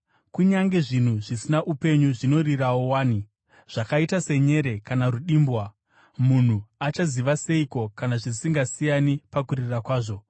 Kunyange zvinhu zvisina upenyu zvinorirawo wani, zvakaita senyere kana rudimbwa, munhu achaziva seiko kana zvisingasiyani pakurira kwazvo?